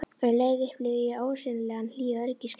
Um leið upplifði ég ólýsanlega hlýja öryggiskennd.